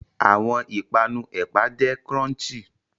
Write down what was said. Awọn ipanu ẹpa jẹ crunchy